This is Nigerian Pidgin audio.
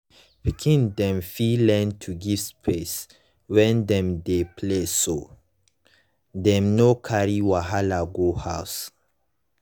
pikin dem fit learn to give space when dem dey play so dem no carry wahala go house.